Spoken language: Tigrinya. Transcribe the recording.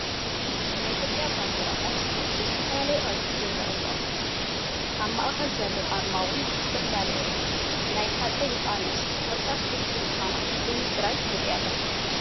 ናይ ኢትዮጵያ ባንዴራታት ብዝተፈላለየ ቅርፂ ይርአያ ኣለዋ፡፡ ኣብ ማእኸለን ዘሎ ኣርማ እውን ዝተፈላለየ እዩ፡፡ ናይ ሃፀይ ዮሃንስ ብቕርፃ ፍልይቲ ምዃና ሎሚ ጥራይ ይርኢ ኣለኹ፡፡